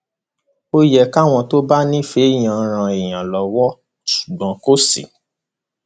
ó yẹ káwọn tó bá nífẹẹ èèyàn ran èèyàn lọwọ ṣùgbọn kò sí